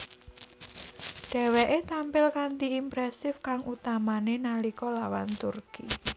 Dheweke tampil kanthi impresif kang utamane nalika lawan Turki